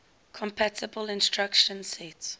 compatible instruction set